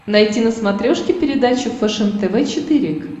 найти на смотрешке передачу фэшен тв четыре к